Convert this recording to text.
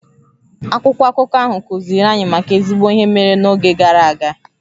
Akwụkwọ akụkọ ahụ kuziri anyị maka ezigbo ihe mere n'oge gara aga